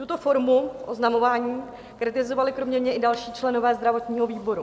Tuto formu oznamování kritizovali kromě mě i další členové zdravotního výboru.